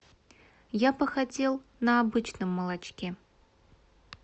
я бы хотел на обычном молочке